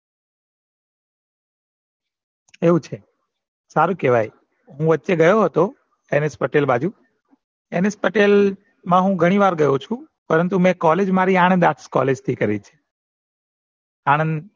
એવું છે સારું કેવાય મુ વચ્ચે ગયું હતો NS પટેલ બાજુ n. s પટેલ મા હું ઘણી વાર ગયો છું પરંતુ college મેં મારી આણંદ arts college થી કરી છે